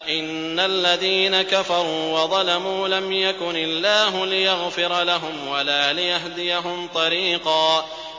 إِنَّ الَّذِينَ كَفَرُوا وَظَلَمُوا لَمْ يَكُنِ اللَّهُ لِيَغْفِرَ لَهُمْ وَلَا لِيَهْدِيَهُمْ طَرِيقًا